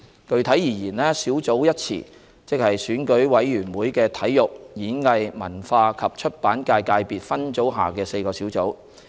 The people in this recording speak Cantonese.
具體而言，"小組"一詞即選舉委員會的體育、演藝、文化及出版界界別分組下的4個小組。